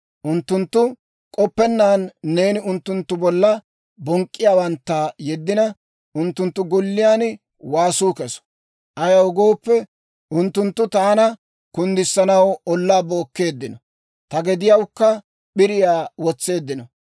Unttunttu k'oppennaan neeni unttunttu bolla bonk'k'iyaawantta yeddina, unttunttu golliyaan waasuu keso. Ayaw gooppe, unttunttu taana kunddisanaw ollaa bookkeeddino; ta gediyawukka p'iriyaa wotseeddino.